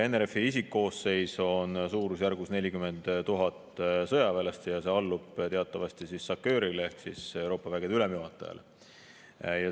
NRF-i isikkoosseis on suurusjärgus 40 000 sõjaväelast ja see allub teatavasti SACEUR-ile ehk Euroopa vägede ülemjuhatajale.